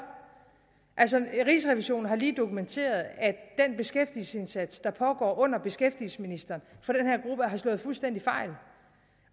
altså rigsrevisionen har lige dokumenteret at den beskæftigelsesindsats der pågår under beskæftigelsesministeren har slået fuldstændig fejl